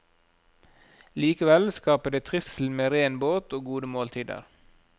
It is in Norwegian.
Likevel skaper det trivsel med ren båt og gode måltider.